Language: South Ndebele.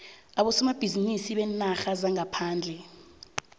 abosomabhizinisi beenarha zangaphandle